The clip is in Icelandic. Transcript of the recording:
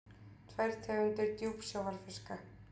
Tvær tegundir djúpsjávarfiska.